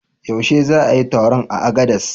Yaushe za a yi taron a Agades?